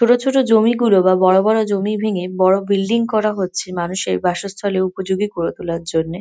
ছোট ছোট জমি গুলো বা বড় বড় জমি ভেঙে বড় বিল্ডিং করা হচ্ছে মানুষের বাসস্থলে উপযোগী করে তোলার জন্যে।